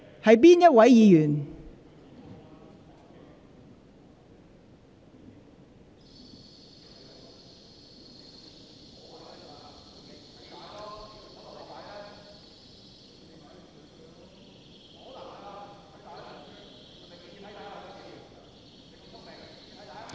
是哪一位議員？